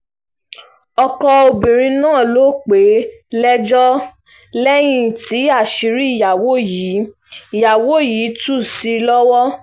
ọkọ obìnrin náà ló pè é lẹ́jọ́ lẹ́yìn tí àṣírí ìyàwó yìí ìyàwó yìí tú sí i lọ́wọ́